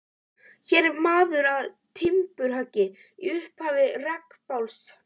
Hér er maður að timburhöggi í upphafi rekabálks.